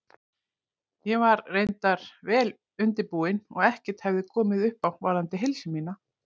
Ég var reyndar vel undirbúin og ekkert hafði komið upp á varðandi heilsu mína.